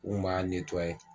N tun b'a